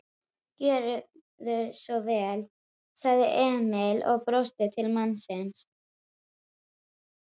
Gjörðu svo vel, sagði Emil og brosti til mannsins.